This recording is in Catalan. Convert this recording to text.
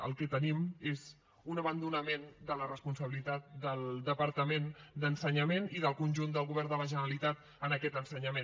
el que tenim és un abandonament de la responsabilitat del departament d’ensenyament i del conjunt del govern de la generalitat en aquest ensenyament